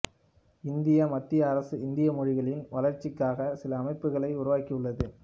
இந்திய மத்திய அரசு இந்திய மொழிகளின் வளர்ச்சிக்காக சில அமைப்புகளை உருவாக்கியுள்ளது